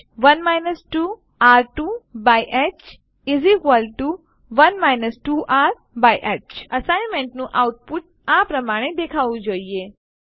1 2r1હ1 2r2હ 1 2rહ અસાઈનમેંટનું આઉટપુટ આ પ્રમાણે દેખાવું જોઈએ